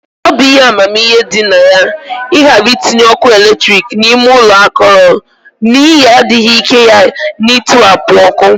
Ọ bụ ihe amamihe dị na ya ịghara itinye ọkụ eletrik n'ime ụlọ akọrọ, n'ihi adịghị ike ya na ntiwapụ ọkụ